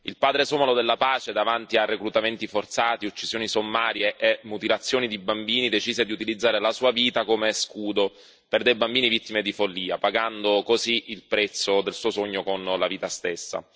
Il padre somalo della pace, davanti a reclutamenti forzati, uccisioni sommarie e mutilazioni di bambini, decise di utilizzare la sua vita come scudo per dei bambini vittime di follia, pagando così il prezzo del suo sogno con la vita stessa.